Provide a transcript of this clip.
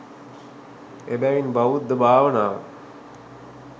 එබැවින් බෞද්ධ භාවනාව